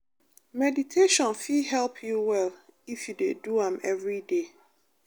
meditation fit help you well if you dey do am everyday.